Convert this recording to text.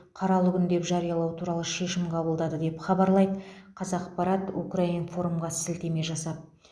қаралы күн деп жариялау туралы шешім қабылдады деп хабарлайды қазақпарат укринформ ға сілтеме жасап